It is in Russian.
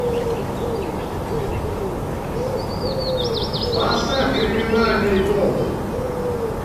поставь криминальные гонки